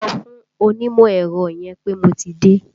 Sọ fún onímọ̀ ẹ̀rọ yẹn pé mo ti dé!